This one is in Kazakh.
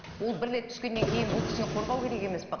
ол бір рет түскеннен кейін бұл кісіні қорғау керек емес пе